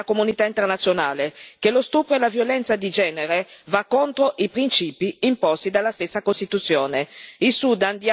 Il Sudan dimostri a quest'Aula e alla comunità internazionale che lo stupro e la violenza di genere vanno contro i principi imposti dalla stessa Costituzione.